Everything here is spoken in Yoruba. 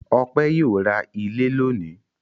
Ọpẹ́ yóò ra ilé lónìí.